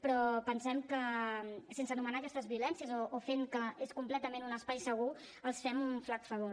però pensem que sense anomenar aquestes violències o fent que és completament un espai segur els fem un flac favor